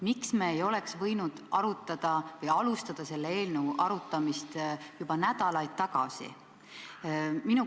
Miks me ei oleks võinud alustada selle eelnõu arutamist juba nädalaid tagasi?